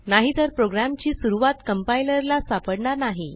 नाहीतर प्रोग्रॅमची सुरूवात कंपाइलर ला सापडणार नाही